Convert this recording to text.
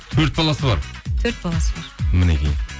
төрт баласы бар төрт баласы бар мінекей